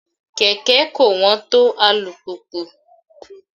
Kẹ̀kẹ́ kò wọ́n tó alùpùpù.